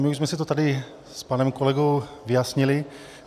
My už jsme si to tady s panem kolegou vyjasnili.